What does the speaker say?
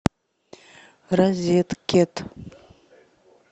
розеткед